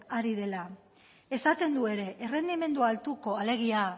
ari dela esaten du ere errendimendu altuko alegia